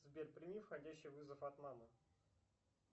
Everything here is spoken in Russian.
сбер прими входящий вызов от мамы